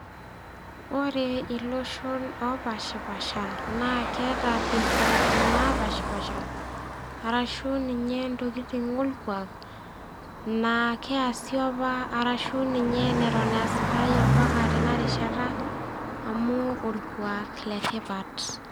Ore iloshon opaashipaasha, naa keata ilkwaaki loopashipaasha, arashu ninye intokitin olkuak, naa keasi opa arashu dii ninye neton easitai ompaka tena rishata amu olkuaak le tipat.